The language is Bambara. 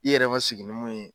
I yɛrɛ ma sigi ni mun ye